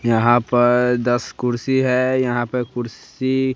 यहां पर दस कुर्सी है। यहां पर कुर्सी--